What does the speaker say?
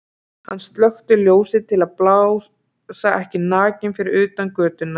Hann slökkti ljósið til að blasa ekki nakinn við utan af götunni.